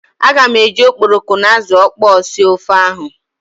Aga m eji okporoko na azụ ọkpọọ sie ofe ahụ.